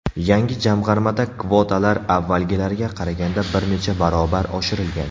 Yangi jamg‘armada kvotalar avvalgilarga qaraganda bir necha barobar oshirilgan.